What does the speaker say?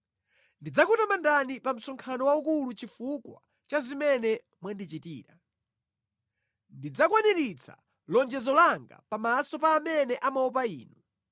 Ndidzakutamandani pa msonkhano waukulu chifukwa cha zimene mwandichitira. Ndidzakwaniritsa lonjezo langa pamaso pa amene amaopa Inu.